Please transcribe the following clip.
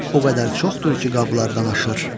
O qədər çoxdur ki, qablardan aşır.